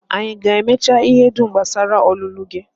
Anyị aga-emecha ihe dum gbasara ọlụlụ gị?